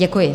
Děkuji.